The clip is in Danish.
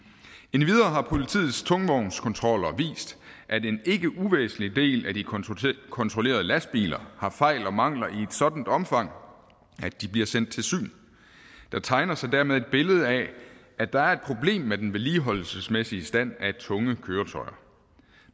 endvidere har politiets tungvognskontroller vist at en ikke uvæsentlig del af de kontrollerede lastbiler har fejl og mangler i et sådant omfang at de bliver sendt til syn der tegner sig dermed et billede af at der er et problem med den vedligeholdelsesmæssige stand af tunge køretøjer